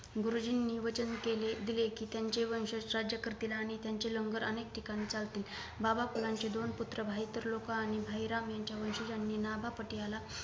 गुरुजींनी वचन केले दिले कि त्यांचे वंशज राज्य करतील आणि त्यांचे लंगर अनेक ठिकाणी चालतील बाबा पलांची दोन भाईतरलोक आणि भाई राम यांचा वंशजांनी नागा पटियाला